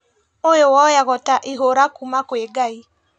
Ũyũ woyagwo ta ihũra kuuma kwĩ ngai